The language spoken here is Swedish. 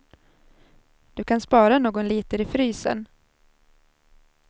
Du kan spara någon liter i frysen.